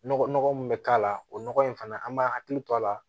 Nɔgɔ nɔgɔ min bɛ k'a la o nɔgɔ in fana an b'a hakili to a la